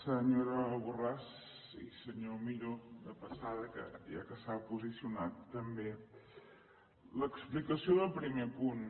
senyora borràs i senyor millo de passada ja que s’ha posicionat també l’explicació del primer punt